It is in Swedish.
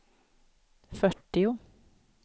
fyrtio